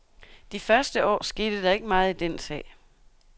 De første år skete der ikke meget i den sag.